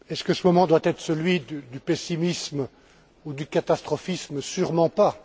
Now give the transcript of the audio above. Ce moment doit il être celui du pessimisme ou du catastrophisme, sûrement pas!